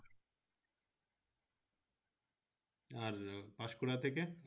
আর পান্সকুরা থেকে হাওড়া